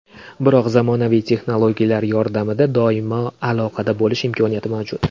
Biroq zamonaviy texnologiyalar yordamida doimo aloqada bo‘lish imkoni mavjud.